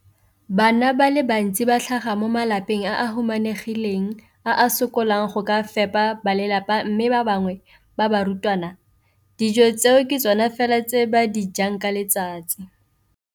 Bana ba le bantsi ba tlhaga mo malapeng a a humanegileng a a sokolang go ka fepa ba lelapa mme ba bangwe ba barutwana, dijo tseo ke tsona fela tse ba di jang ka letsatsi.